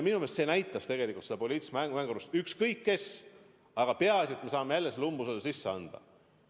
Minu meelest see näitas tegelikult poliitilist mängurlust: ükskõik kelle vastu, aga peaasi, et me saame umbusaldusavalduse sisse anda.